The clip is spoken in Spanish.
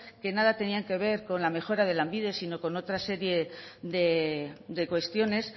que nada tenían que ver con la mejora de lanbide sino con otras serie de cuestiones